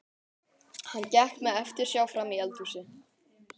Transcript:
Hann gekk með eftirsjá frammí eldhúsið.